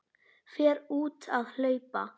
Fer út að hlaupa.